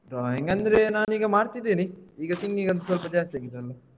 Drawing ಅಂದ್ರೆ ನಾನ್ ಈಗ ಮಾಡ್ತಿದ್ದೇನೆ ಈಗ singing ಒಂದ್ ಸ್ವಲ್ಪ ಜಾಸ್ತಿ ಆಗಿದೆ ಅಲ್ಲ.